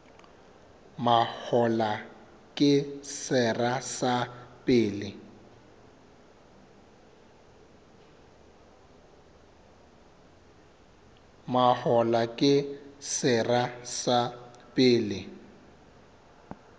mahola ke sera sa pele